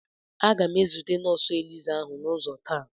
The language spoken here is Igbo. Aga m ezute nọọsụ elizá ahụ n'ụzọ taa.